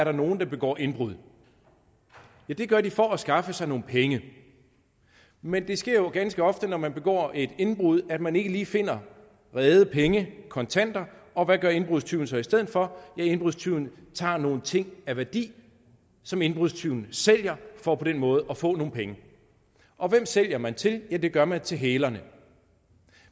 er nogen der begår indbrud ja det gør de for at skaffe sig nogle penge men det sker jo ganske ofte når man begår et indbrud at man ikke lige finder rede penge kontanter og hvad gør indbrudstyven så i stedet for ja indbrudstyven tager nogle ting af værdi som indbrudstyven sælger for på den måde at få nogle penge og hvem sælger man til ja det gør man til hælerne